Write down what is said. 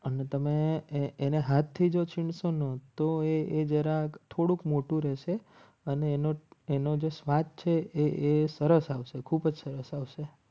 અને તમે એને હાથથી જો છું સોનુ તો એ જરાક થોડુંક મોટું રહેશે અને એનો જ સ્વાર્થ છે એ સરસ આવશે ખૂબ જ સરસ આવશે.